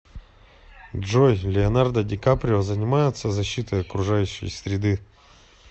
джой леонардо ди каприо занимается защитой окружающей среды